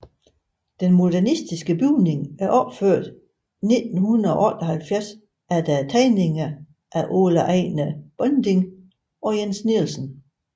Den modernistiske bygning er opført 1978 efter tegninger af Ole Ejnar Bonding og Jens Nielsen